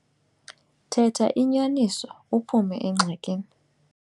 Thetha inyaniso uphume engxakini.